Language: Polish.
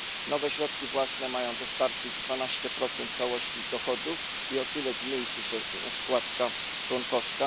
Nowe środki własne mają dostarczyć 12 dochodów i o tyle zmniejszy się składka członkowska.